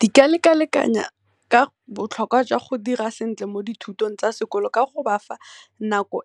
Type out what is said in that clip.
Di ka leka-lekanya ka botlhokwa jwa go dira sentle mo dithutong tsa sekolo ka go bafa nako